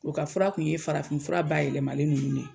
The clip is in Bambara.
O ka fura kun ye farafinfura bayɛlɛmalen nunnu de ye